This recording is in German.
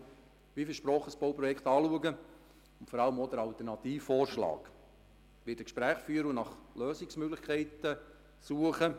Ich schaue aber wie versprochen das Bauprojekt und vor allem den Alternativvorschlag an, werde Gespräche führen und nach Lösungsmöglichkeiten suchen.